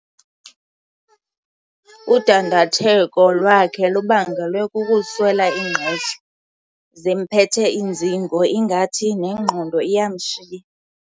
Udandatheko lwakhe lubangelwe kukuswela ingqesho. zimphethe iinzingo ingathi nengqondo iyamshiya